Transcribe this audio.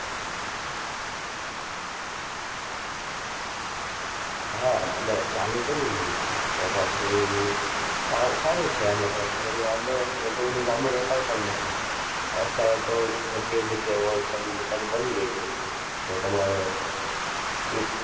હા તમારે ચાલુ કરવું હોય તો પછી સા~સારું છે આમાં કઈ આટલો બધો વાંધો નથી એટલું બધુ લાંબુ રોકાણ પણ નથી. અત્યારે તો જગ્યાએ જગ્યાએ wholesale ની દુકાન બની ગઈ છે. તો તમારે એક